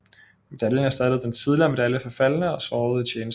Medaljen erstattede den tidligere medalje for faldne og sårede i tjeneste